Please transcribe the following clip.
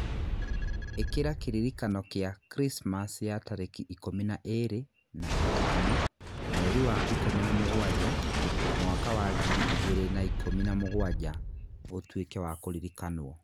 Ĩkĩra kĩririkano kĩa Krismasi ya tarĩki ikũmi na ĩĩrĩ na ĩtano mweri wa ikũmi na mũgwanja mwaka wa ngiri igĩrĩ na ikũmi na mũgwanja, ũtuĩke wa kũririkanwo.